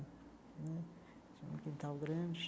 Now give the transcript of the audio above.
Hum tinha um quintal grande.